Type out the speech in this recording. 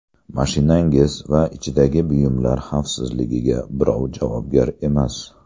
Mashinangiz va ichidagi buyumlar xavfsizligiga birov javobgar emas.